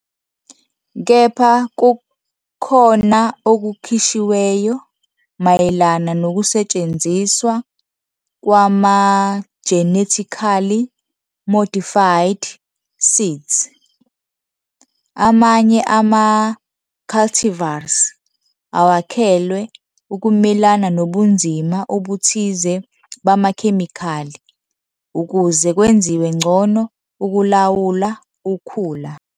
Kepha kukhona okukhishiweyo mayelana nokusetshenziswa kwama-genetically modified seeds. Amanye ama-cultivars awakhelwe ukumelana nobunzima obuthize bamakhemikhali ukuze kwenziwe ngcono ukulawula ukhula.